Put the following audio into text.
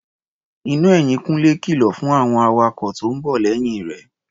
Iná ẹ̀yìn Kúnlé kìlọ̀ fún àwọn awakọ̀ tó ń bọ̀ lẹ́yìn rẹ̀.